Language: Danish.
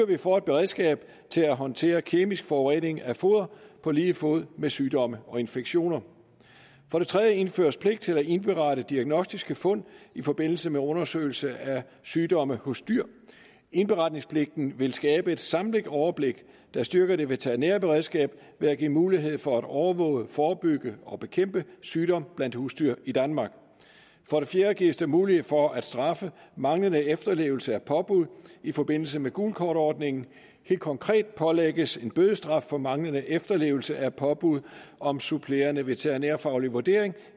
vi får et beredskab til at håndtere kemisk forurening af foder på lige fod med sygdomme og infektioner for det tredje indføres pligt til at indberette diagnostiske fund i forbindelse med undersøgelse af sygdomme hos dyr indberetningspligten vil skabe et samlet overblik der styrker det veterinære beredskab ved at give mulighed for at overvåge forebygge og bekæmpe sygdom blandt husdyr i danmark for det fjerde gives der mulighed for at straffe manglende efterlevelse af påbud i forbindelse med gult kort ordningen helt konkret pålægges en bødestraf for manglende efterlevelse af påbud om supplerende veterinærfaglig vurdering